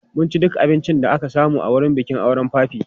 Mun ci duk abincin da aka samu a wurin bikin auren papi.